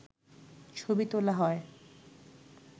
ছবি তোলা হয়